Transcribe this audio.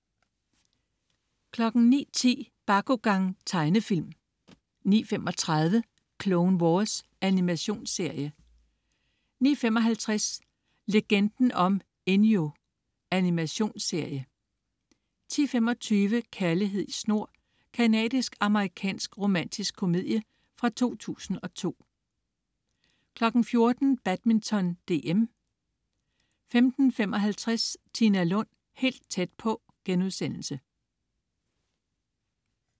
09.10 Bakugan. Tegnefilm 09.35 Clone Wars. Animationsserie 09.55 Legenden om Enyo. Animationsserie 10.25 Kærlighed i snor. Canadisk-amerikansk romantisk komedie fra 2002 14.00 Badminton: DM 15.55 Tina Lund, helt tæt på*